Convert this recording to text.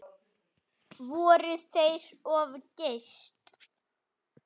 Fóru þeir of geyst?